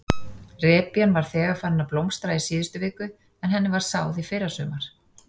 Repjan var þegar farin að blómstra í síðustu viku en henni var sáð í fyrrasumar?